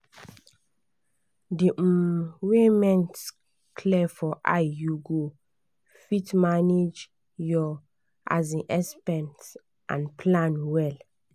di um way mint clear for eye you go fit manage your um expense and plan well.